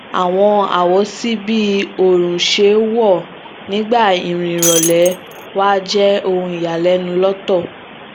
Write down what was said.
àwọn awosi bi oorun ṣe wọ nígbà irin ìrọlẹ wa jé ohun iyalẹnu lóòótọ